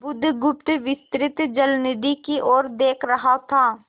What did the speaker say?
बुधगुप्त विस्तृत जलनिधि की ओर देख रहा था